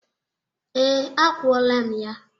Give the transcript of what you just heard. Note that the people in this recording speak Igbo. Ee, akwọla m ya.